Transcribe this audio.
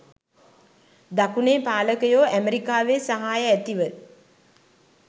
දකුණේ පාලකයෝ ඇමරිකාවේ සහාය ඇතිව